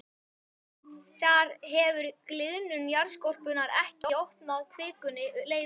Þar hefur gliðnun jarðskorpunnar ekki opnað kvikunni leið upp.